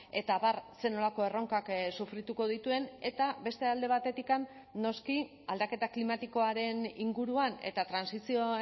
eta abar zer nolako erronkak sufrituko dituen eta beste alde batetik noski aldaketa klimatikoaren inguruan eta trantsizio